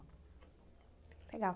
Legal.